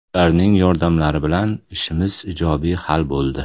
Ularning yordamlari bilan ishimiz ijobiy hal bo‘ldi.